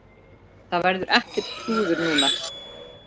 Það verður ekkert klúður núna.